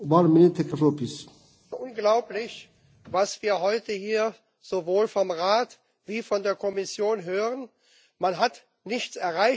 Herr Präsident! Unglaublich, was wir heute hier sowohl vom Rat wie von der Kommission hören! Man hat nichts erreicht.